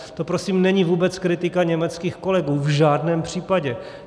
To prosím není vůbec kritika německých kolegů, v žádném případě.